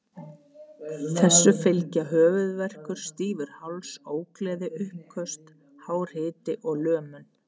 Þessu fylgja höfuðverkur, stífur háls, ógleði og uppköst, hár hiti og lömun.